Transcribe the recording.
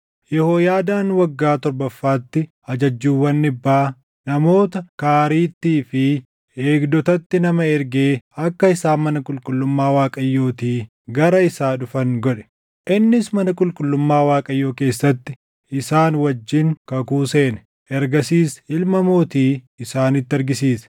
Yehooyaadaan waggaa torbaffaatti ajajjuuwwan dhibbaa, namoota Kaariittii fi eegdotatti nama ergee akka isaan mana qulqullummaa Waaqayyootii gara isaa dhufan godhe. Innis mana qulqullummaa Waaqayyoo keessatti isaan wajjin kakuu seene. Ergasiis ilma mootii isaanitti argisiise.